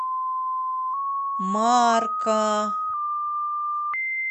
марка